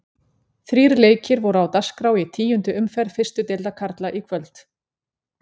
Þrír leikir voru á dagskrá í tíundu umferð fyrstu deildar karla í kvöld.